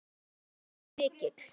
Styrkur hans var mikill.